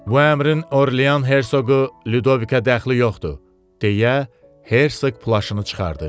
Bu əmrin Orlean hersoqu Lüdovika dəxli yoxdur, deyə Herseq plaşını çıxartdı.